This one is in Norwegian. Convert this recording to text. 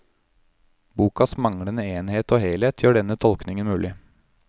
Bokas manglende enhet og helhet gjør denne tolkningen mulig.